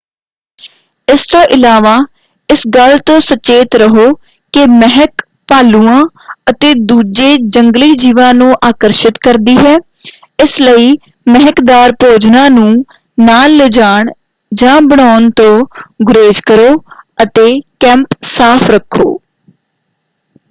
ਇਸ ਤੋਂ ਇਲਾਵਾ ਇਸ ਗੱਲ ਤੋਂ ਸਚੇਤ ਰਹੋ ਕਿ ਮਹਿਕ ਭਾਲੂਆਂ ਅਤੇ ਦੂਜੇ ਜੰਗਲੀ-ਜੀਵਾਂ ਨੂੰ ਆਕਰਸ਼ਿਤ ਕਰਦੀ ਹੈ ਇਸ ਲਈ ਮਹਿਕਦਾਰ ਭੋਜਨਾਂ ਨੂੰ ਨਾਲ ਲਿਜਾਣ ਜਾਂ ਬਣਾਉਣ ਤੋਂ ਗੁਰੇਜ ਕਰੋ ਅਤੇ ਕੈਂਪ ਸਾਫ਼ ਰੱਖੋ।